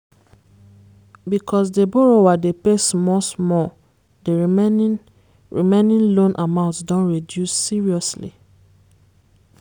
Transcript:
because the borrower dey pay small-small the remaining remaining loan amount don reduce seriously.